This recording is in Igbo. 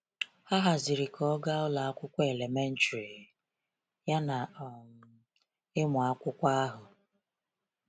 Ha haziri ka ọ gaa ụlọ akwụkwọ elementrị, yana um ịmụ akwụkwọ ahụ.